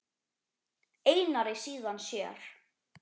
Einari, síðan sér.